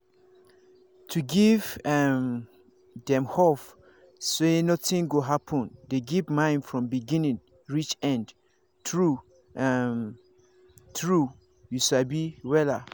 to give um dem hope say nothing go happen dey give mind from beginning reach end true um true you sabi wella